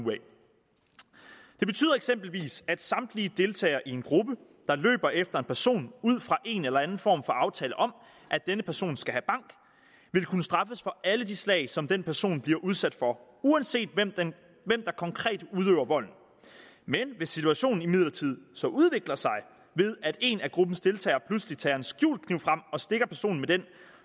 det betyder eksempelvis at samtlige deltagere i en gruppe der løber efter en person ud fra en eller anden form for aftale om at denne person skal have bank vil kunne straffes for alle de slag som den person bliver udsat for uanset hvem der konkret udøver volden hvis situationen imidlertid så udvikler sig ved at en af gruppens deltagere pludselig tager en skjult kniv frem og stikker personen med den